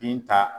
Binta